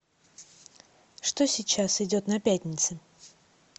что сейчас идет на пятнице